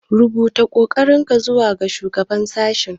Rubuta ƙorafinka zuwa shugaban sashe.